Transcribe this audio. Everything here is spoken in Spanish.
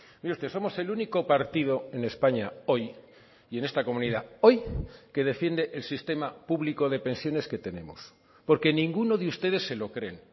mire usted somos el único partido en españa hoy y en esta comunidad hoy que defiende el sistema público de pensiones que tenemos porque ninguno de ustedes se lo creen